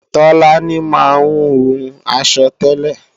Tọ́lání máa ń hun aṣọ tẹ́lẹ̀